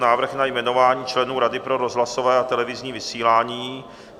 Návrh na jmenování členů Rady pro rozhlasové a televizní vysílání